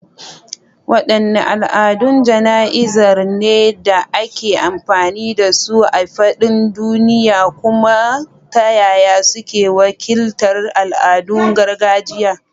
Waɗanne al’adun jana’izar ne da ake amfani da su a faɗin duniya, kuma ta yaya suke wakiltar al’adun gargajiya?